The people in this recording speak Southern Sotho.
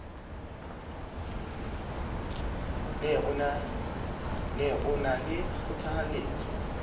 ne o na le kgothalletso